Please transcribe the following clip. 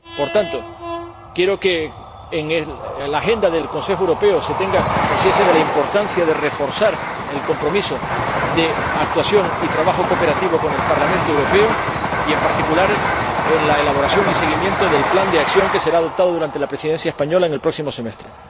Por tanto, quiero que en la agenda del Consejo Europeo se tenga conciencia de la importancia de reforzar el compromiso de actuación y trabajo cooperativo con el Parlamento Europeo y, en particular, de la elaboración y el seguimiento del plan de acción, que será adoptado durante la Presidencia española en el próximo semestre.